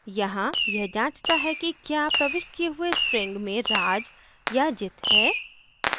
यहाँ यह जाँचता है कि क्या प्रविष्ट किये हुए string में raj या jit हैं